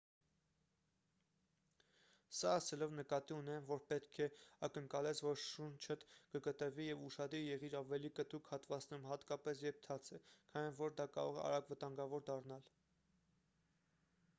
սա ասելով նկատի ունեմ որ պետք է ակնկալես որ շունչդ կկտրվի և ուշադիր եղիր ավելի կտրուկ հատվածներում հատկապես երբ թաց է քանի որ դա կարող է արագ վտանգավոր դառնալ